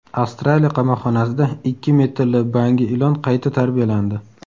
Avstraliya qamoqxonasida ikki metrli bangi ilon qayta tarbiyalandi.